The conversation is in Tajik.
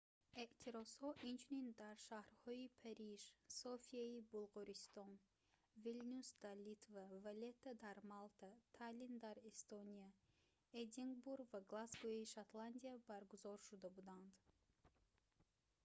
эътирозҳо инчунин дар шаҳрҳои париж софияи булғористон вилнюс дар литва валлетта дар малта таллин дар эстония эдинбург ва глазгои шотландия баргузор шуда буданд